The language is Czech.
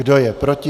Kdo je proti?